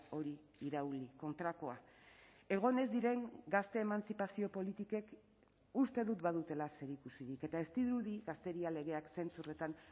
hori irauli kontrakoa egon ez diren gazte emantzipazio politikek uste dut badutela zerikusirik eta ez dirudi gazteria legeak zentzu horretan